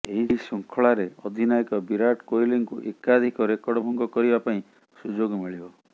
ଏହି ଶୃଙ୍ଖଳାରେ ଅଧିନାୟକ ବିରାଟ କୋହଲିଙ୍କୁ ଏକାଧିକ ରେକର୍ଡ ଭଙ୍ଗ କରିବା ପାଇଁ ସୁଯୋଗ ମିଳିବ